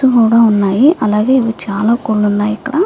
కూడా వున్నాయ్ అలాగే ఇవి చాల కోడ్లు వున్నాయి.